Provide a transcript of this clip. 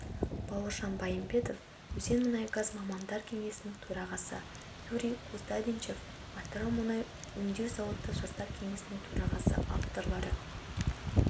бауыржан байымбетов өзенмұнайгаз мамандар кеңесінің төрағасы юрий кустадинчев атырау мұнай өңдеу зауыты жастар кеңесінің төрағасы авторлары